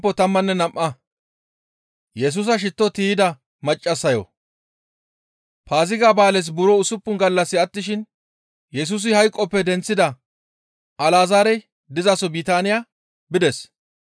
Paaziga ba7aales buro usuppun gallassi attishin Yesusi hayqoppe denththida Alazaarey dizaso Bitaaniya bides.